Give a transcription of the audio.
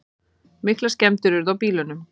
Miklar skemmdir urðu á bílunum.